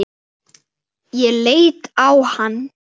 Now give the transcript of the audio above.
Ég leit á hann.